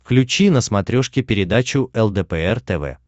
включи на смотрешке передачу лдпр тв